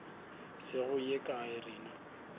se go ye kae rena